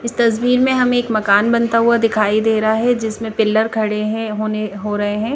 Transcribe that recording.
इस तस्वीर में हमे एक मकान बनता हुआ दिखाई दे रहा है जिसमे पिलर खड़े है होने-हो रहे है।